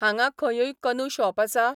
हांगा खंयूय कनु शॉप आसा?